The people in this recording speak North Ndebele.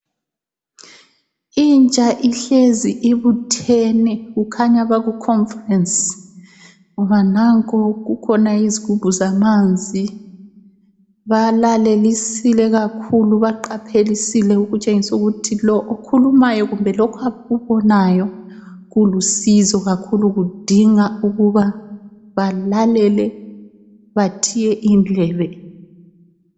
Intsha ihlezi ibuthene kukhanya Baku conference ngoba nanko kukhona izigubhu zamanzi ,balalelisile kakhulu baqaphelisile okutshengisa ukuthi lo okhulumayo kumbe abakubonayo kulusizo kakhulu kudinga ukuba balalele bathiye indlebe